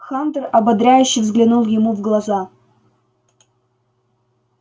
хантер ободряюще взглянул ему в глаза